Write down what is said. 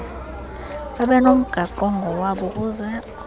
babenomgaqo ongowabo ukuzed